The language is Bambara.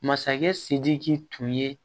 Masakɛ sidiki tun ye